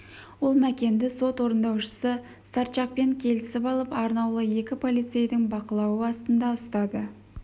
ол мәкенді сот орындаушысы старчакпен келісіп алып арнаулы екі полицейдің бақылауы астында ұстады